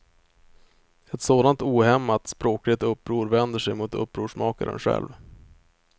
Ett sådant ohämmat språkligt uppror vänder sig mot upprorsmakaren själv.